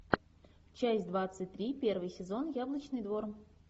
часть двадцать три первый сезон яблочный двор